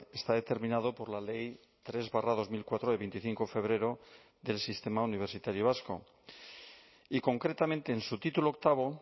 está determinado por la ley tres barra dos mil cuatro de veinticinco de febrero del sistema universitario vasco y concretamente en su título octavo